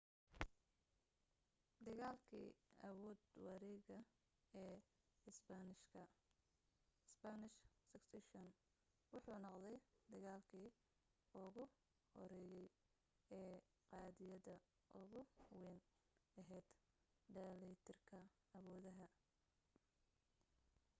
dagaalkii awood-wareegga ee isbaanishka spanish succession wuxuu noqday dagaalki ugu horeeyay ee qadiyadda ugu weyn ahayd dheellitirka awoodaha